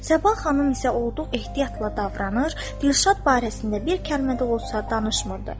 Səbah xanım isə olduqca ehtiyatla davranır, Dilşad barəsində bir kəlmə də olsa danışmırdı.